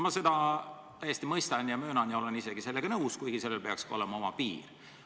Ma seda täiesti mõistan ja olen sellega isegi nõus, kuid sellel peaks ikkagi olema oma piir.